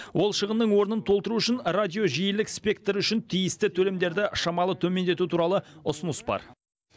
ол шығынның орнын толтыру үшін радио жиілік спектрі үшін тиісті төлемдерді шамалы төмендету туралы ұсыныс бар